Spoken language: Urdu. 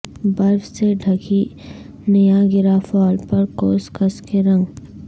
برف سے ڈھکی نیاگرا فال پر قوس قزح کے رنگ